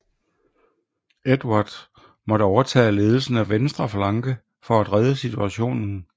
Edvard måtte overtage ledelsen af venstre flanke for at redde situationen